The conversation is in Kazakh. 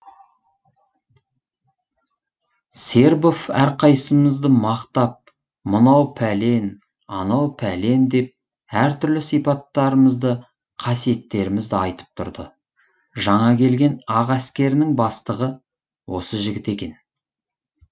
сербов әрқайсымызды мақтап мынау пәлен анау пәлен деп әр түрлі сипаттарымызды қасиеттерімізді айтып тұрды жаңа келген ақ әскерінің бастығы осы жігіт екен